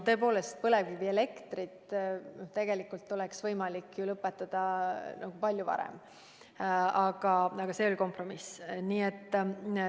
Tõepoolest, põlevkivielektri tootmise saaks tegelikult lõpetada palju varem, aga see oli kompromiss.